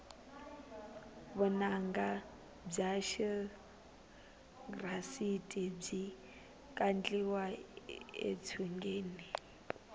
vunanga bya xirhasita byi kandliwa etshungeni